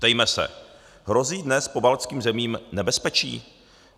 Ptejme se: Hrozí dnes pobaltským zemím nebezpečí?